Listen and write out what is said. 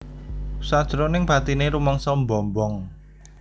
Sanjeroning batine rumangsa mbombong